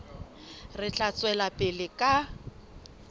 re tla tswela pele ka